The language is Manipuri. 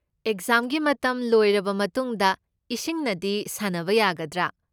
ꯑꯦꯛꯖꯥꯝꯒꯤ ꯃꯇꯝ ꯂꯣꯏꯔꯕ ꯃꯇꯨꯡꯗ ꯏꯁꯤꯡꯅꯗꯤ ꯁꯥꯟꯅꯕ ꯌꯥꯒꯗ꯭ꯔꯥ?